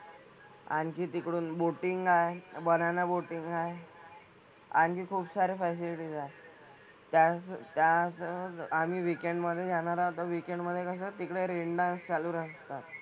आणखी तिकडून बोटिंग आहे. बनाना बोटिंग आहे. आणि खुपसारे फॅसिलीटीज आहेत. त्याच त्याच आम्ही वीकेंडमधे जाणार आहोत तर वीकेंडमधे कसं तिकडे रेन डान्स चालू असतात.